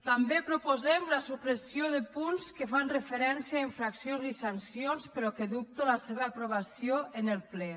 també proposem la supressió de punts que fan referència a infraccions i sancions però que dubto de la seva aprovació en el ple